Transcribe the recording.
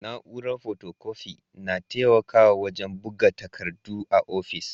Na'uran fotokofi na taimakawa wajen buga takardu a ofis.